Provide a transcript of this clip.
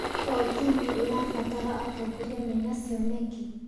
O timu ĩrabatara atongoria mena cioneki.